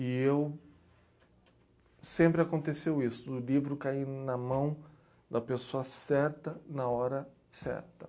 E eu... Sempre aconteceu isso, o livro cair na mão da pessoa certa, na hora certa.